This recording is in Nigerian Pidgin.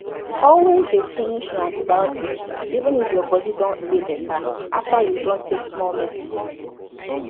always dey finish your antibiotics even if your body don dey better after you don take small medicine